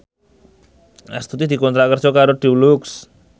Astuti dikontrak kerja karo Dulux